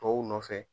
Tɔw nɔfɛ